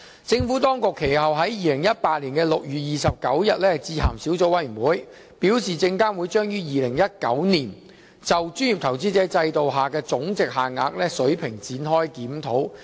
政府當局其後於2018年6月29日致函小組委員會，表示證監會將於2019年就專業投資者制度下的總值限額水平展開檢討。